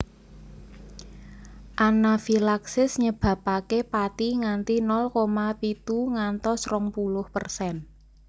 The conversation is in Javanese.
Anafilaksis nyebabake pati nganti nol koma pitu ngantos rong puluh persen